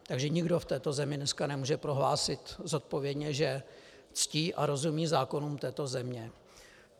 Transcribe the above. Takže nikdo v této zemi dneska nemůže prohlásit zodpovědně, že ctí a rozumí zákonům této země.